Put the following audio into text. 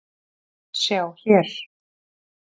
Sjá hér